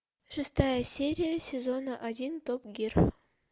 шестая серия сезона один топ гир